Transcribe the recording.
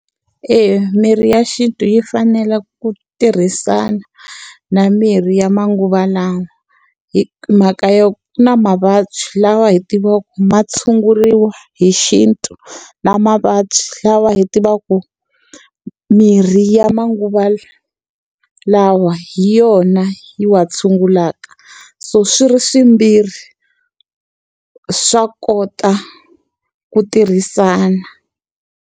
Eya, mirhi ya xintu yi fanele ku tirhisana na mirhi ya manguva lawa. Hi mhaka yo ku na mavabyi lawa hi tivaka ma tshunguriwa hi xintu, na mavabyi lawa hi tivaka ku mirhi ya manguva lawa hi yona yi wa tshungulaka. So swi ri swimbirhi swa kota ku tirhisana.